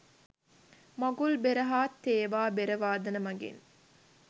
මඟුල් බෙර හා තේවා බෙර වාදන මගින්